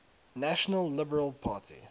national liberal party